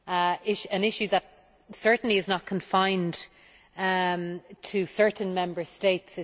It is an issue that certainly is not confined to certain Member States.